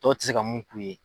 Tow tɛ se ka mun k'u ye.